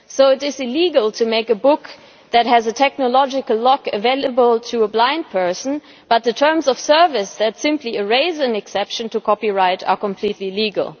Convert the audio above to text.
So it is illegal to make a book that has a technological lock available to a blind person, but the terms of service that simply erase an exception to copyright are completely legal.